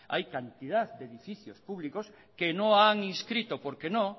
hay cantidad de edificios públicos que no han inscrito porque no